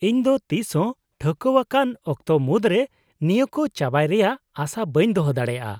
-ᱤᱧ ᱫᱚ ᱛᱤᱥ ᱦᱚᱸ ᱴᱷᱟᱹᱣᱠᱟᱹᱣᱟᱠᱟᱱ ᱚᱠᱛᱚ ᱢᱩᱫᱨᱮ ᱱᱤᱭᱟᱹ ᱠᱚ ᱪᱟᱵᱟᱭ ᱨᱮᱭᱟᱜ ᱟᱥᱟ ᱵᱟᱹᱧ ᱫᱚᱦᱚ ᱫᱟᱲᱮᱭᱟᱜᱼᱟ ᱾